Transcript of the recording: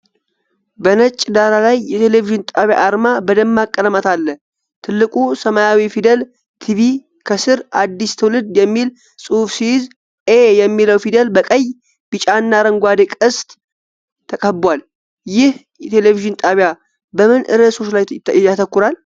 በነጭ ዳራ ላይ የቴሌቪዥን ጣቢያ አርማ በደማቅ ቀለማት አለ። ትልቁ ሰማያዊ ፊደል "ቲቪ" ከስር "አዲስ ትውልድ" የሚል ጽሑፍ ሲይዝ፣ "ኤ" የሚለው ፊደል በቀይ፣ ቢጫና አረንጓዴ ቅስት ተከቧል። ይህ ቴሌቪዥን ጣቢያ በምን ርዕሶች ላይ ያተኩራል?